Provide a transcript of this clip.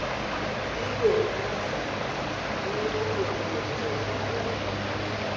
Gigo manyasani mio puonjruok tedo bedo mayot